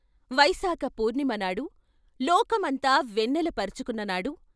వైశాఖ పూర్ణిమనాడు, లోకమంతా వెన్నెల పరుచుకున్ననాడు.